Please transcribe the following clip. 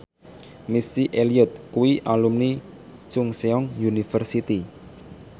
Missy Elliott kuwi alumni Chungceong University